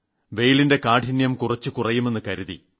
വെയിലിന്റെ കാഠിന്യം കുറച്ചു കുറയുമെന്ന് കരുതി